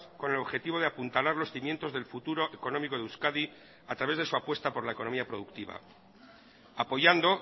con el objetivo de apuntalar los cimientos del futuro económico de euskadi a través de su apuesta por la economía productiva apoyando